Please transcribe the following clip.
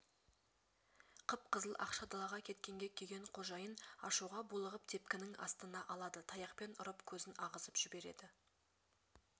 қып-қызыл ақша далаға кеткенге күйген қожайын ашуға булығып тепкінің астына алады таяқпен ұрып көзін ағызып жіберед эі